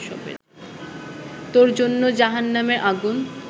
তোর জন্য জাহান্নামের আগুন